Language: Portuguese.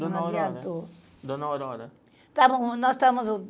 Dona Aurora. Não adiantou. Dona Aurora.